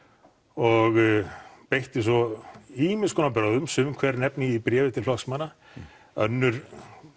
og beitti svo ýmis konar brögðum sum hver nefni ég í bréfi til flokksmanna önnur